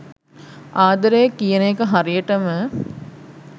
ආදරය කියන එක හරියටම